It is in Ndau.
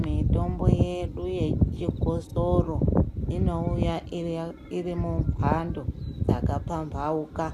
Mwitombo yedu yechikosoro inouya iri ya iri mumhando dzakapambauka